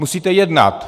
Musíte jednat.